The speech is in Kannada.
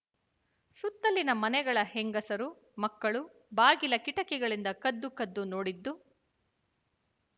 ಸುತ್ತಲಿನ ಮನೆಗಳ ಹೆಂಗಸರು ಮಕ್ಕಳು ಬಾಗಿಲ ಕಿಟಕಿಗಳಿಂದ ಕದ್ದು ಕದ್ದು ನೋಡಿದ್ದು